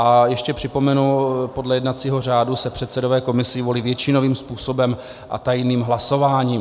A ještě připomenu, podle jednacího řádu se předsedové komisí volí většinovým způsobem a tajným hlasováním.